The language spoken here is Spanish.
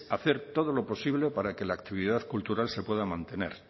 hacer todo lo posible para que la actividad cultural se pueda mantener